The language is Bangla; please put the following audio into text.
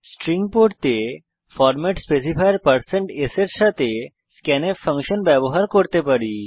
স্ট্রিং পড়তে আমরা ফরম্যাট স্পেসিফায়ার160s এর সাথে স্ক্যানফ ফাংশন ব্যবহার করতে পারি